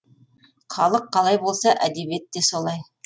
халық қалай болса әдебиет те солай